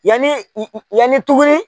Yanni yanni tuguni